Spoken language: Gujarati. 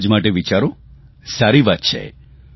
સમાજ માટે વિચારો સારી વાત છે